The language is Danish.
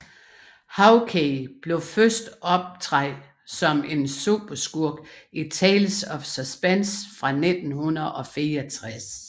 Hawkeye blev først optræd som en superskurk i Tales of Supense fra 1964